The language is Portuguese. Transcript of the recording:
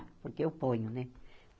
Porque eu ponho, né?